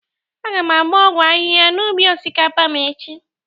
Aga m agba ọgwọ ahịha n'ubi osikapa m echi.